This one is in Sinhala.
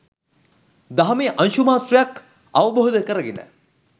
දහමේ අංශුමාත්‍රයක් අවබෝධ කරගෙන